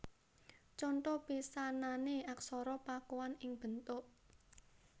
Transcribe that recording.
Conto pisanané Aksara Pakuan ing bentuk